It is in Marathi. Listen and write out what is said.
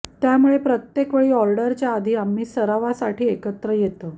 त्यामुळे प्रत्येक वेळी ऑर्डरच्या आधी आम्ही सरावासाठी एकत्र येतो